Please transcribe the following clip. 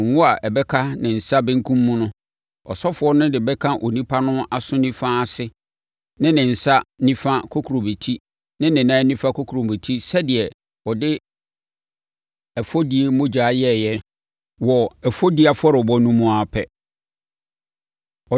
Ngo no a ɛbɛka ne nsa benkum mu no, ɔsɔfoɔ no de bɛka onipa no aso nifa ase ne ne nsa nifa kokurobetie ne ne nan nifa kokurobetie sɛdeɛ ɔde ɛfɔdie mogya yɛeɛ wɔ ɛfɔdie afɔrebɔ no mu no ara pɛ.